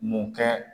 Mun kɛ